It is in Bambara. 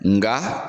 Nga